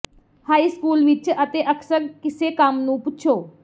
high school ਵਿੱਚ ਅਤੇ ਅਕਸਰ ਇਸੇ ਕੰਮ ਨੂੰ ਪੁੱਛੋ